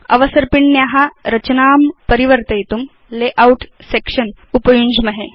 अवसर्पिण्या रचनां परिवर्तयितुं लेआउट सेक्शन उपयुञ्ज्महे